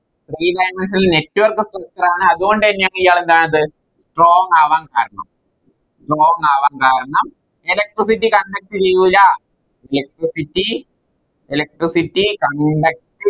Three dimensionalNetwork structure ആണ് അത് കൊണ്ട് തന്നെയാണ് ഇയാളെന്തായത് Strong ആവാൻ കാരണം Strong ആവാൻ കാരണം Electricity conduct ചെയൂല Electricity electricity conduct